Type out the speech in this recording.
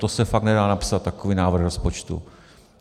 To se fakt nedá napsat, takový návrh rozpočtu!